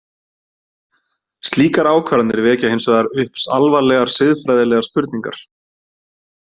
Slíkar ákvarðanir vekja hins vegar upp alvarlegar siðfræðilegar spurningar.